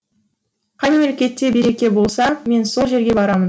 қай мемлекетте береке болса мен сол жерге барамын